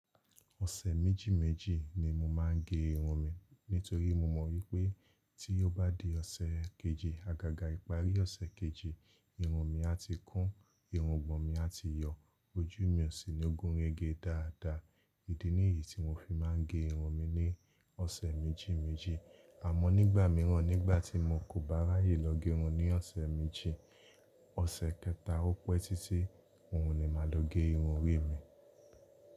Ọ̀sẹ̀ méjì méjì ni mo máa ń gẹ irun mi. Nítorí mo mọ̀ wípé tí ó bá di ọ̀sẹ̀ kejì, àgàgà ìparí ọ̀sẹ̀ kejì, irun mi a ti kún, irùngbọ̀n mi a ti yọ, ojú mi o sì ní ogun erége dáadáa. Idí niyí tí mo fi máa ń gẹ irun mi ní ọ̀sẹ̀ méjì méjì. Àmọ́ nígbà mìíràn, nígbà tí mo kò bá ráyè lọ gẹ irun ní ọ̀sẹ̀ méjì, ọ̀sẹ̀ kẹta ó pẹ́ títí, òun ni màá lọ gẹ irun orí mi.